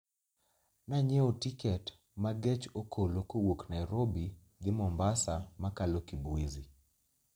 Nanyiewo tiket ma gech okolo kowuok Nairobi dhi Mombasa ma kalo Kibwezi